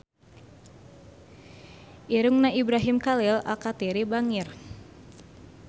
Irungna Ibrahim Khalil Alkatiri bangir